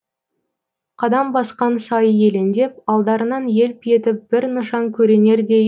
қадам басқан сайы елеңдеп алдарынан елп етіп бір нышан көрінердей